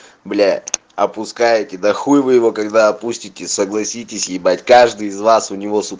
бля опускайте да хуй вы его когда опустите согласитесь ебать каждый из вас у него сука